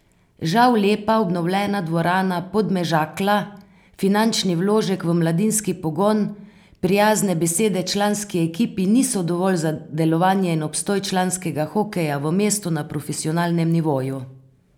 Žal lepa, obnovljena dvorana Podmežakla, finančni vložek v mladinski pogon, prijazne besede članski ekipi niso dovolj za delovanje in obstoj članskega hokeja v mestu na profesionalnem nivoju.